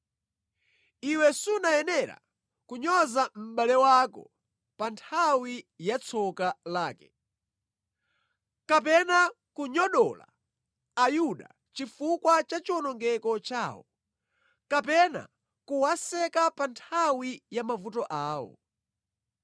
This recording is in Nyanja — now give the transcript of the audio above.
Iwe sunayenera kunyoza mʼbale wako pa nthawi ya tsoka lake, kapena kunyogodola Ayuda chifukwa cha chiwonongeko chawo, kapena kuwaseka pa nthawi ya mavuto awo.